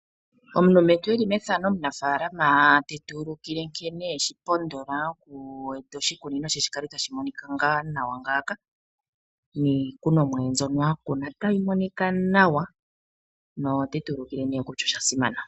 Omulumentu eli methano omunafaalama te tu ulukile nkene eshipondola oku eta oshikunino she opo shi kale tashi nawa ,niikunomwa ye mbyoka a kuna tayi monika nawa notetu ulukile kutya oshasimana.